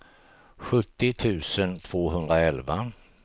sjuttio tusen tvåhundraelva